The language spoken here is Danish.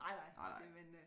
Nej nej det men øh